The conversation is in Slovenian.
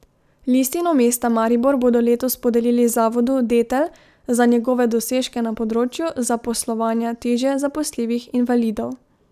Listino mesta Maribor bodo letos podelili zavodu Detel za njegove dosežke na področju zaposlovanja težje zaposljivih invalidov.